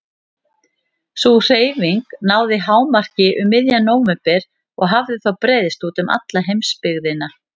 Sú hreyfing náði hámarki um miðjan nóvember og hafði þá breiðst út um alla heimsbyggðina.